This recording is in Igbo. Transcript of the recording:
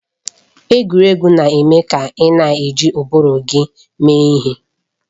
Egwuregwu na-eme ka ị na-eji ụbụrụ gị mee ihe.